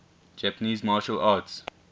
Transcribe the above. japanese martial arts